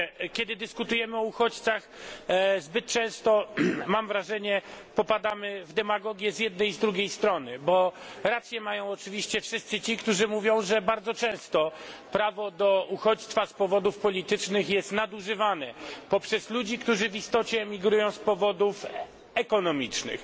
Kiedy dyskutujemy o uchodźcach zbyt często mam wrażenie popadamy w demagogię z jednej i z drugiej strony. Bo rację mają oczywiście wszyscy ci, którzy mówią, że bardzo często prawo do uchodźstwa z powodów politycznych jest nadużywane poprzez ludzi, którzy w istocie emigrują z powodów ekonomicznych.